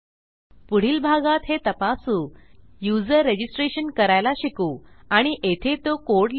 पुढील भागात हे तपासू युजर रजिस्ट्रेशन करायला शिकू आणि येथे तो कोड लिहू